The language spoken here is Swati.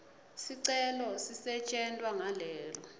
sicelo sisetjentwa ngalelo